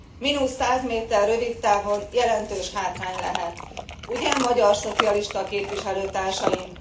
Mínusz 100 méter rövidtávon jelentős hátrány lehet, ugye, magyar szocialista képviselőtársaim?